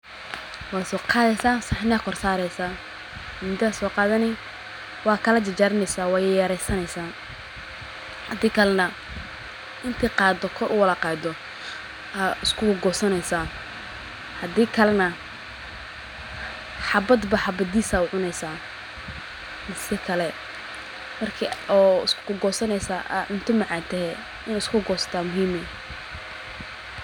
Waa soo qadeysa saxni aa korsareysa, mindi aa soo qaadani waa kala jarjaraneysa waa yar yareysaneysa hadii kale na inti qaado kor uwada qaado ay isku goosaneysa hadii kale na xabadba xabadiis aa ucuneysa si kale marki oo isku goosaneysa ay ka macaantehe in lisku goosto aa muhiime